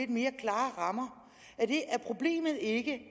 mere klare rammer er problemet ikke at